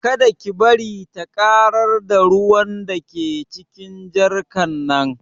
Kada ki bari ta ƙarar da ruwan da ke cikin jarkar nan